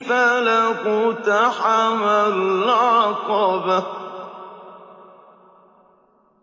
فَلَا اقْتَحَمَ الْعَقَبَةَ